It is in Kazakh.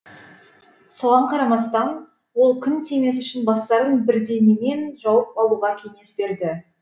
соған қарамастан ол күн тимес үшін бастарын бірдеңемен жауып алуға кеңес берді